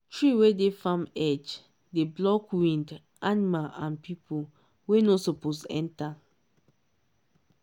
if you plant cocoa and banana together e go give balance between sun and shade till year go finish